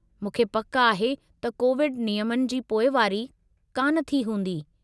मूंखे पकि आहे त कोविड नियमनि जी पोइवारी कान थी हूंदी।